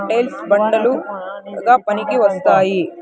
Tiles బండలు గా పనికి వస్తాయి.